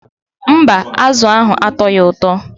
Mba, azụ ahụ atọghị ụtọ.